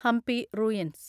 Hampi ruins